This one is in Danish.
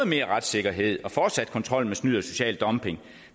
mere retssikkerhed og fortsat kontrol med snyd og social dumping